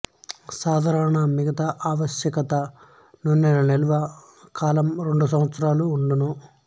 సాధారణంగా మిగతా ఆవశ్యక నూనెల నిల్వ కాలం రెండు సంవత్సరాలు వుండును